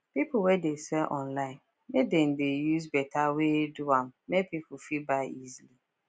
peopple wey dey sell online make dem dey use better wey do am make people fit buy easily